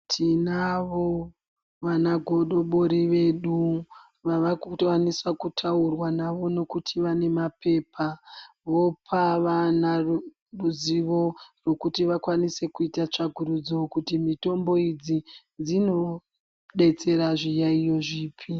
Tinavo vana godobori vedu vavakukwanisa kutaurwa nawo nekuti vavenemapepa, vopa vana ruzivo rekuti vakwanise kuita tsvakurudzo kuti mitombo idzi dzinodetsera zviyaiyo zvipi.